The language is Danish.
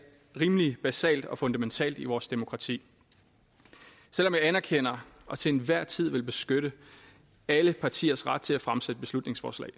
rimelig basalt og fundamentalt i vores demokrati selv om jeg anerkender og til enhver tid vil beskytte alle partiers ret til at fremsætte beslutningsforslag